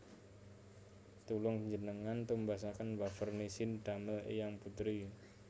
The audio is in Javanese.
Tulung njenengan tumbasaken wafer Nissin damel eyang putri